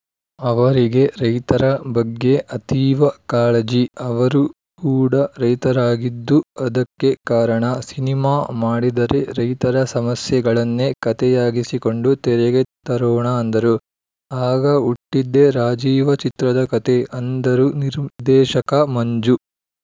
ಅವರಿಗೆ ರೈತರ ಬಗ್ಗೆ ಅತೀವ ಕಾಳಜಿ ಅವರು ಕೂಡ ರೈತರಾಗಿದ್ದು ಅದಕ್ಕೆ ಕಾರಣ ಸಿನಿಮಾ ಮಾಡಿದರೆ ರೈತರ ಸಮಸ್ಯೆಗಳನ್ನೇ ಕತೆಯಾಗಿಸಿಕೊಂಡು ತೆರೆಗೆ ತರೋಣ ಅಂದರು ಆಗ ಹುಟ್ಟಿದ್ದೆ ರಾಜೀವ ಚಿತ್ರದ ಕತೆ ಅಂದರು ನಿರ್ದೇಶಕ ಮಂಜು